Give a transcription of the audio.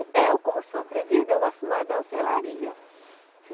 Eu, como sou atrevida, eu gosto mais da hotelaria.